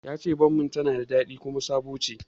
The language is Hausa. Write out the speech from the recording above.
Yace bommin tana da zaƙi kuma sabo ce